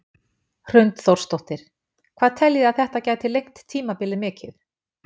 Hrund Þórsdóttir: Hvað teljið þið að þetta gæti lengt tímabilið mikið?